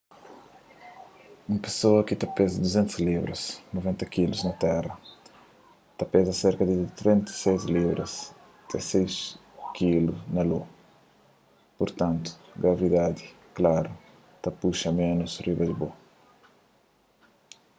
un pesoa ki ta peza 200 libras 90kg na terra ta peza serka di 36 libras 16kg na io. purtantu gravidadi klaru ta puxa ménus riba bo